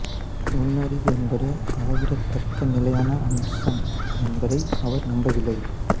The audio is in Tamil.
நுண்ணறிவு என்பது அளவிடத்தக்க நிலையான அம்சம் என்பதை அவர் நம்பவில்லை